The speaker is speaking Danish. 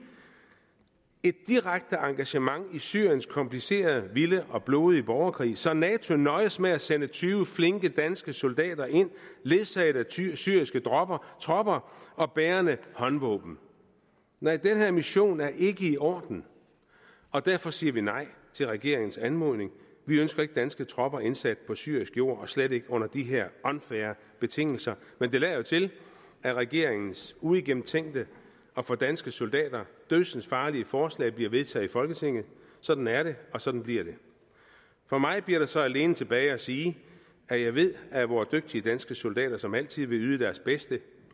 et direkte engagement i syriens komplicerede vilde og blodige borgerkrig så nato nøjes med at sende tyve flinke danske soldater ind ledsaget af syriske tropper tropper og bærende håndvåben nej den her mission er ikke i orden og derfor siger vi nej til regeringens anmodning vi ønsker ikke danske tropper indsat på syrisk jord og slet ikke under de her unfair betingelser men det lader jo til at regeringens uigennemtænkte og for danske soldater dødsensfarlige forslag bliver vedtaget i folketinget sådan er det og sådan bliver det for mig bliver der så alene tilbage at sige at jeg ved at vores dygtige danske soldater som altid vil yde deres bedste